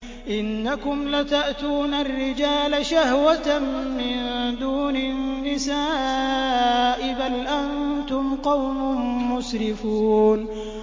إِنَّكُمْ لَتَأْتُونَ الرِّجَالَ شَهْوَةً مِّن دُونِ النِّسَاءِ ۚ بَلْ أَنتُمْ قَوْمٌ مُّسْرِفُونَ